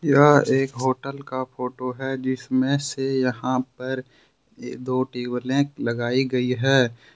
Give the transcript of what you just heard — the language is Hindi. यह एक होटल का फोटो है जिसमें से यहां पर ए दो टेबले लगाई गई है।